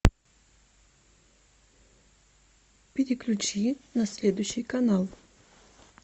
переключи на следующий канал